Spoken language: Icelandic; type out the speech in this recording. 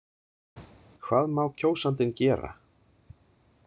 Hvað má kjósandinn gera?